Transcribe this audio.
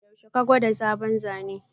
Yaushe ka gwada sabon Zane?